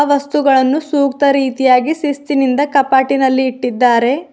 ವಸ್ತುಗಳನ್ನು ಸೂಕ್ತ ರೀತಿಯಾಗಿ ಶಿಸ್ತಿನಿಂದ ಕಪಾಟಿನಲ್ಲಿ ಇಟ್ಟಿದ್ದಾರೆ.